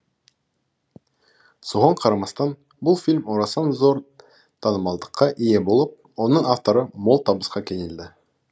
соған қарамастан бұл фильм орасан зор танымалдыққа ие болып оның авторы мол табысқа кенелді